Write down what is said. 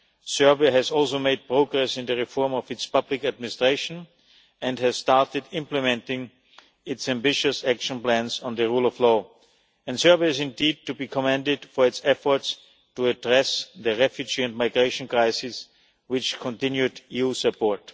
Serbia has also made progress in the reform of its public administration, and has started implementing its ambitious action plans on the rule of law, and Serbia is indeed to be commended for its efforts to address the refugee and migration crisis, which continued EU support.